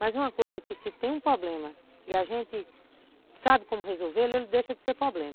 Mas uma coisa que se tem um problema e a gente sabe como resolvê-lo, ele deixa de ser problema.